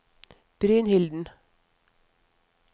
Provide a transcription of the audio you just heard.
Brynilden